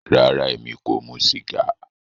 Rárá, ẹmi kò mù sígà